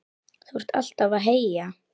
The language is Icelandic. Þú ert alltaf að heyja